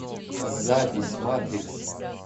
запись матрикс